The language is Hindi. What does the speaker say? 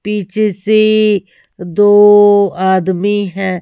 पीछे से दो आदमी हैं।